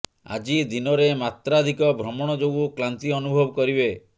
ଆଜି ଦିନରେ ମାତ୍ରାଧିକ ଭ୍ରମଣ ଯୋଗୁ କ୍ଳାନ୍ତି ଅନୁଭବ କରିବେ